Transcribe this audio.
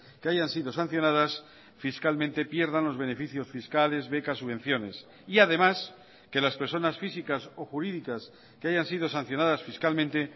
que hayan sido sancionadas fiscalmente pierdan los beneficios fiscales becas subvenciones y además que las personas físicas o jurídicas que hayan sido sancionadas fiscalmente